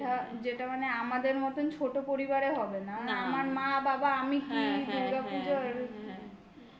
যেটা, যেটা মানে আমাদের মতন ছোট পরিবারে হবে না. মানে আমার মা, বাবা, আমি কি দূর্গা পুজোর হ্যাঁ